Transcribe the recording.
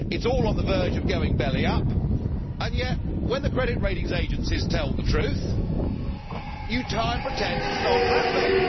It is all on the verge of going belly up, and yet when the credit rating agencies tell the truth you try and pretend it is not happening.